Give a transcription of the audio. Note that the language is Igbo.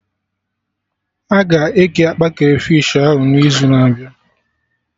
Aga eke akpa Krafish ahụ na izu na-abịa?